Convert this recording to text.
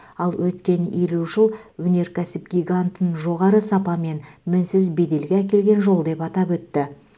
ал өткен елу жыл өнеркәсіп гигантын жоғары сапа мен мінсіз беделге әкелген жол деп атап өтті